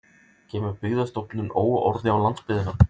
Kemur Byggðastofnun óorði á landsbyggðina